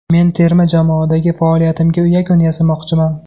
Men terma jamoadagi faoliyatimga yakun yasamoqchiman.